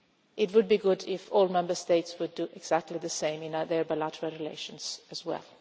It would be good if all Member States would do exactly the same in their bilateral relations as well.